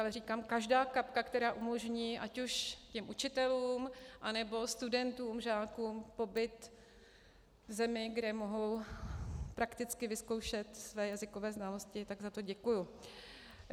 Ale říkám, každá kapka, která umožní, ať už těm učitelům, anebo studentům, žákům pobyt v zemi, kde mohou prakticky vyzkoušet své jazykové znalosti, tak za to děkuji.